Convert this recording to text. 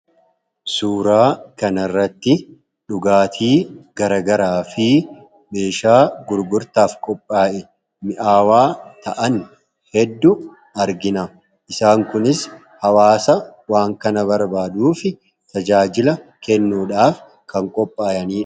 Suuraa kana irratti dhugaatii garaa garaa fi meeshaa gurgurtaaf qophaa'e mi'aawaa ta'an hedduu argina. Isaan kunis hawaasa waan kana barbaaduu fi tajaajila kennuudhaaf kan qophaa'anidha.